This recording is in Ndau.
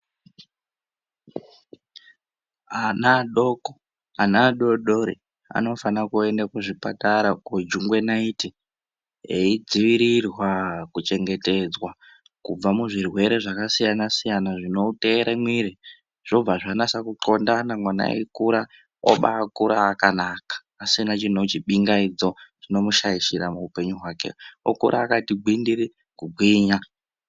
Ana adoko ana adodori anofana kuenda kuzvipatara kojungwe naiti eidziwirirwa kuchengetedzwa kubva muzvirwere zvakasiyana siyana zvinoteera mwiri zvobva zvanasa kutlondana mwana eikura obakura akanaka asina chino chipingaidzo chinomushaishira muupenyu hwake okura akati gwindiri kugwinya.